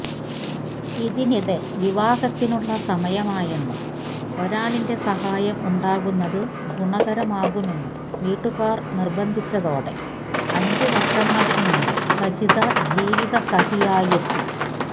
ഇതിനിടെ വിവാഹത്തിനുള്ള സമയമായെന്നും ഒരാളിന്റെ സഹായം ഉണ്ടാകുന്നത് ഗുണമാകുമെന്നും വീട്ടുകാര് നിര്ബന്ധിച്ചതോടെ അഞ്ച് വര്ഷങ്ങള്ക്ക് മുന്പ് സജിത ജീവിത സഖിയായെത്തി